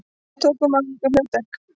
Við tókum að okkur erfitt hlutverk